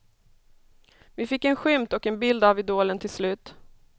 Vi fick en skymt och en bild av idolen till slut.